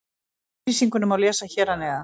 Yfirlýsinguna má lesa hér að neðan.